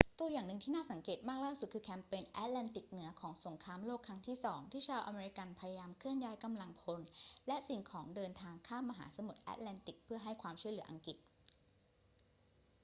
ตัวอย่างหนึ่งที่น่าสังเกตมากล่าสุด คือแคมเปญแอตแลนติกเหนือของสงครามโลกครั้งที่สอง ที่ชาวอเมริกันพยายามเคลื่อนย้ายกำลังพลและสิ่งของเดินทางข้ามมหาสมุทรแอตแลนติกเพื่อให้ความช่วยเหลืออังกฤษ